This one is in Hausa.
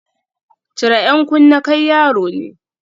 Cire 'yan kunne, kai yaro ne